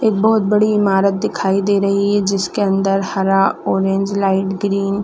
एक बहुत बड़ा ईमारत दिखाई दे रही है जिसके अंदर हरा ऑरेंज लाइट ग्रीन --